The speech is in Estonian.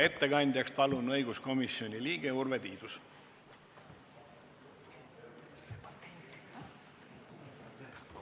Ettekandjaks palun õiguskomisjoni liikme Urve Tiiduse.